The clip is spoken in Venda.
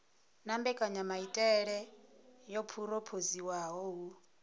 na mbekanyamaitele yo phurophoziwaho hu